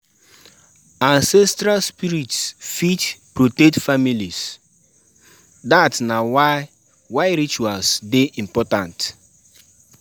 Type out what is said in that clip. Ancestral spirits fit protect families; dat na why why rituals dey important.